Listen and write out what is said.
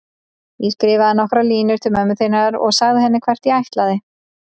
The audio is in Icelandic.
Ég skrifaði nokkrar línur til mömmu þinnar og sagði henni hvert ég ætlaði.